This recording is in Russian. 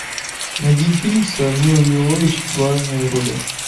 найди фильм с милой йовович в главной роли